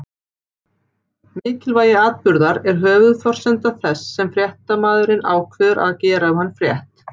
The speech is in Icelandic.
Mikilvægi atburðar er höfuðforsenda þess að fréttamaðurinn ákveður að gera um hann frétt.